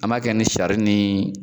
An b'a kɛ ni sari ni